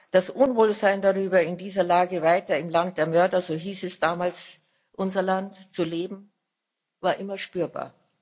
Das Unwohlsein darüber, in dieser Lage weiter im Land der Mörder so hieß damals unser Land zu leben, war immer spürbar.